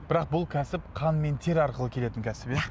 бірақ бұл кәсіп қан мен тер арқылы келетін кәсіп иә